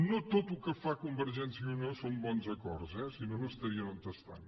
no tot el que fa convergència i unió són bons acords sinó no estarien on estan